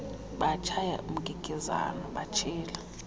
bashaya umkikizane batshila